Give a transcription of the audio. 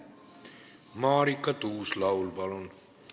Marika Tuus-Laul, palun!